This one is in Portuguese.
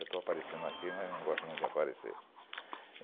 Eu estou aparecendo aqui, mas não gosto muito de aparecer.